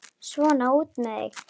Svona, út með þig!